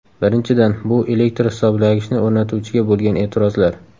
Birinchidan, bu elektr hisoblagichni o‘rnatuvchiga bo‘lgan e’tirozlar.